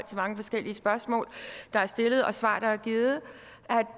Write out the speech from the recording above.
mange forskellige spørgsmål der er stillet og svar der er givet